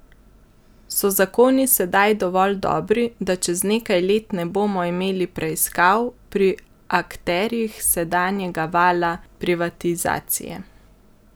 So zakoni sedaj dovolj dobri, da čez nekaj let ne bomo imeli preiskav pri akterjih sedanjega vala privatizacije?